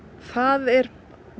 það er